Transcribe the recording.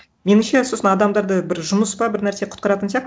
меніңше сосын адамдарды бір жұмыс па бір нәрсе кұтқаратын